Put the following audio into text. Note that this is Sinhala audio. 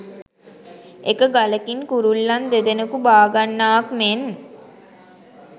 එක ගලකින් කුරුල්ලන් දෙදෙනකු බාගන්නාක් මෙන්